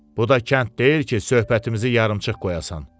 Bu da kənd deyil ki, söhbətimizi yarımçıq qoyasan.